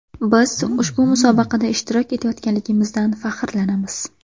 Biz ushbu musobaqada ishtirok etayotganligimizdan faxrlanamiz.